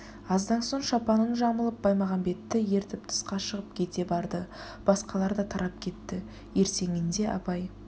аздан соң шапанын жамылып баймағамбетті ертіп тысқа шығып кете барды басқалар да тарап кетті ертеңінде абай